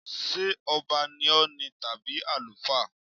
Ṣé ọba ní Ọ̀ọ̀ni tàbí àlùfáà?